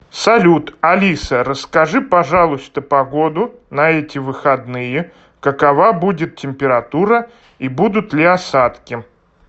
салют алиса расскажи пожалуйста погоду на эти выходные какова будет температура и будут ли осадки